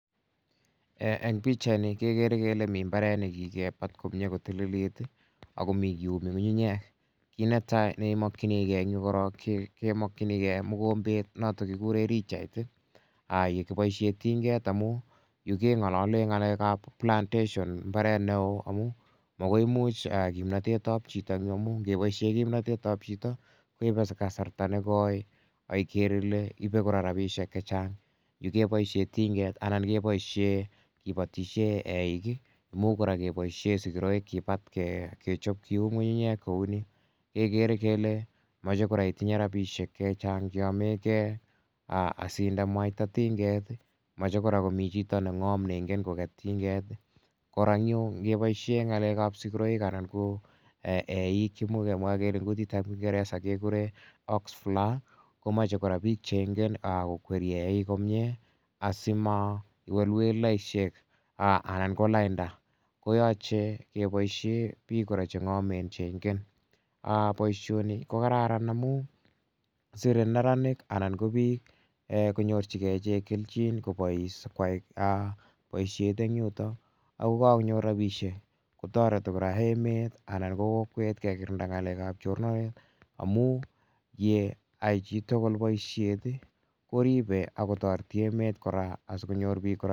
Eng' pichaini kekere kele mi mbaret ne kikepat komye ko tililit ako mi kiumi ng'ung'unyek. Kit ne tai ne imakchinigei eng' yu korok kemakchinigei mukombet notok kikure richait ye kipoishe tinget amu yu ke ng'alale ng'alek ap plantation mbaret ne oo amu makoi imuch kimnatet ap chito eng' yu amh nge poishe kimnatet ap chito ko ipe kasarta ne koi. Ikere ile ipe kora rapishek che chang'. Yu kepoishe tinget anan kepoishe kipatishe eik, imuch kora kepoishe sikiraik kipat kechop kium ng'ng'unyek kou ni kekere kole mache kora itinye rapishek che chang' che yamegei asiinde mwaita tinget. Mache kora komi chito ne ng'am ne ingen koket tinget. Kora eng' yu ngepoishe ng'alek ap sikiraik anan ko eik, imuch kemwa kele eng' kutit ap kingeresa kekure ox flyer ko mache kora chito ne ingek ko kweri eik asima iwelewelaishek anan ko lainda ko yache kepoishe pik kora che ng'amen che ingen. Poishoni ko kararan amu sire neranik anan ko pik ko nyorchigei ichek kelchin ko pois koai poishey eng' yutok ako kakonyor rapishek. Ko tareti kora emet anan ko kokwet kekirinda ng'alek ap chornanet amu ye ai chi tugul poishet i, ko ripei ak kotareti emet kora asikonyor pik